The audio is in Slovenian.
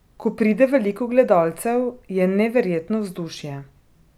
Ko pride veliko gledalcev, je neverjetno vzdušje.